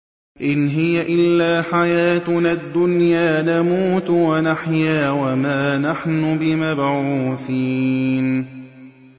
إِنْ هِيَ إِلَّا حَيَاتُنَا الدُّنْيَا نَمُوتُ وَنَحْيَا وَمَا نَحْنُ بِمَبْعُوثِينَ